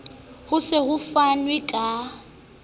ho se ho fanwe ka